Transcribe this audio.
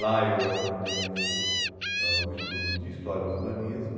Lá eu aprofundei muito ãh o estudo de história do urbanismo.